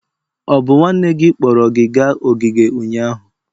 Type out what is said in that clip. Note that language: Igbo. Ọ bụ nwanne gị kpọrọ gị gaa ogige ụnyahụ?